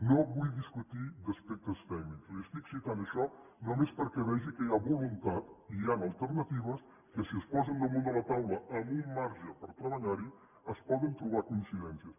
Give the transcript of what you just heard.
no vull discutir d’aspectes tècnics li estic citant això només perquè vegi que hi ha voluntat i hi han alternatives que si es posen damunt de la taula amb un marge per treballar hi es poden trobar coincidències